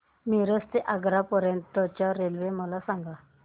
मिरज ते आग्रा पर्यंत च्या रेल्वे मला सांगा